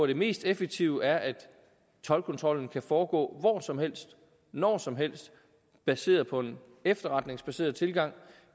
det mest effektive er at toldkontrollen kan foregå hvor som helst og når som helst baseret på en efterretningsbaseret tilgang